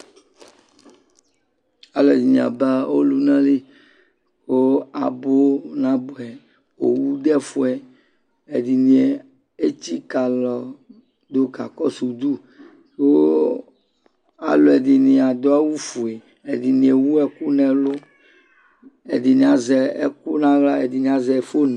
Alʋɛdɩnɩ aba ɔlʋna li ƙʋ abʋ nabʋɛ; owu dʋ ɛfʋɛ Ɛdɩnɩ etsikǝ alɔ dʋ k'akɔsʋ udu Kʋ alʋɛdɩnɩ adʋ awʋfue, ɛdɩnɩ ewu ɛkʋ n'ɛlʋ ɛdɩnɩ azɛɛkʋ n'aɣla ɛdɩnɩ azɛ (phone)